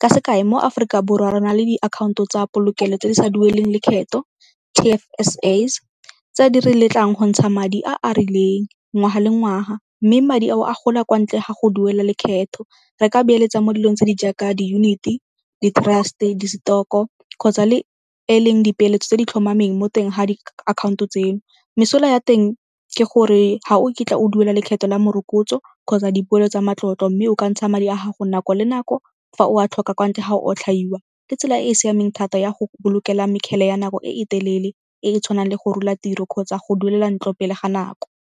Ka sekai mo Aforika Borwa re na le diakhaonto tsa polokelo tse di sa dueleng lekgetho, T_F_S_S tse di re letlang go ntsha madi a a rileng ngwaga le ngwaga mme madi ao a gola kwa ntle ga go duela lekgetho. Re ka beeletsa mo dilong tse di jaaka di-unit-e, di-trust-e, di-stock-o kgotsa le e leng dipeeletso tse di tlhomameng mo teng ga diakhaonto tseno. Mesola ya teng ke gore ga o kitla o duela lekgetho la morokotso kgotsa dipoelo tsa matlotlo mme o ka ntsha madi a gago nako le nako fa o a tlhoka kwa ntle ga otlhaiwa. Ke tsela e e siameng thata ya go bolokela mekgele ya nako e telele e e tshwanang le go rola tiro kgotsa go duelela ntlo pele ga nako.